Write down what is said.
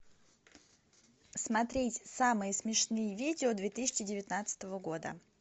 смотреть самые смешные видео две тысячи девятнадцатого года